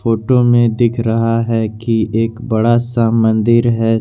Photo में दिख रहा है कि एक बड़ा सा मंदिर है।